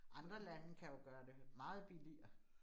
Andre lande kan jo gøre det meget billigere